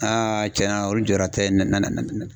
cɛnna olu jɔyɔrɔ tɛ na na